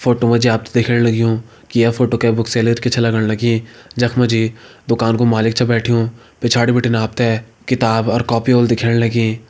Photo मा जी आप ते दिखेण लग्युं की ये फोटो कै बुक सेलर की छ लगण लगीं जख मा जी दुकान कु मालिक बैठ्युं पिछाड़ी बीटिन आप ते किताब अर कॉपी होली दिखेण लगीं।